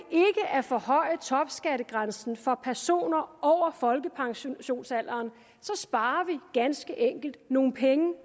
at forhøje topskattegrænsen for personer over folkepensionsalderen sparer vi ganske enkelt nogle penge